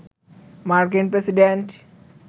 মার্কিন প্রেসিডেন্ট